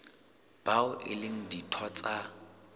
bao e leng ditho tsa